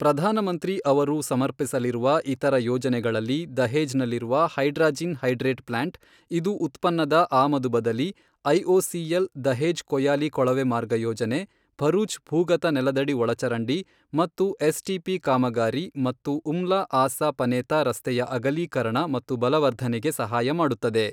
ಪ್ರಧಾನಮಂತ್ರಿ ಅವರು ಸಮರ್ಪಿಸಲಿರುವ ಇತರ ಯೋಜನೆಗಳಲ್ಲಿ ದಹೇಜ್ ನಲ್ಲಿರುವ ಹೈಡ್ರಾಜಿನ್ ಹೈಡ್ರೇಟ್ ಪ್ಲಾಂಟ್, ಇದು ಉತ್ಪನ್ನದ ಆಮದು ಬದಲಿ, ಐಒಸಿಎಲ್ ದಹೇಜ್ ಕೊಯಾಲಿ ಕೊಳವೆ ಮಾರ್ಗ ಯೋಜನೆ, ಭರೂಚ್ ಭೂಗತ ನೆಲದಡಿ ಒಳಚರಂಡಿ ಮತ್ತು ಎಸ್ ಟಿಪಿ ಕಾಮಗಾರಿ ಮತ್ತು ಉಮ್ಲಾ ಆಸಾ ಪನೇತಾ ರಸ್ತೆಯ ಅಗಲೀಕರಣ ಮತ್ತು ಬಲವರ್ಧನೆಗೆ ಸಹಾಯ ಮಾಡುತ್ತದೆ.